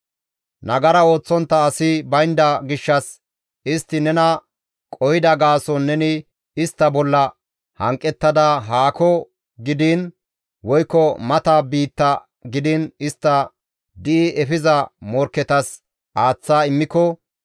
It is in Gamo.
«Nagara ooththontta asi baynda gishshas istti nena qohida gaason neni istta bolla hanqettada haako gidiin woykko mata biitta gidiin istta di7i efiza morkketas aaththa immiko,